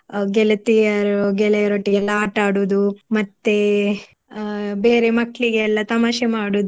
ಗೆಳತಿಯರು ಗೆಳೆಯರೊಟ್ಟಿಗೆ ಎಲ್ಲ ಆಟ ಆಡುದು ಮತ್ತೆ ಅಹ್ ಬೇರೆ ಮಕ್ಳಿಗೆಲ್ಲ ತಮಾಷೆ ಮಾಡುದು